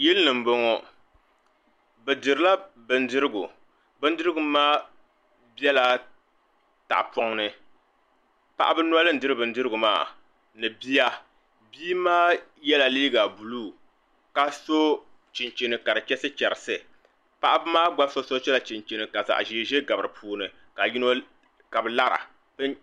yili ni m-bɔŋɔ bɛ dirila bindirigu bindirigu maa bela tahipɔŋ ni paɣaba noli n-diri bindirigu maa ni bia bia maa yela liiga buluu ka so chinchini ka di chɛrisichɛrisi paɣaba maa gba so sola chinchini ka zaɣ'ʒee ʒee gabi di puuni ka bɛ lara